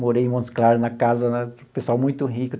Morei em Montes Claros, na casa né do pessoal muito rico.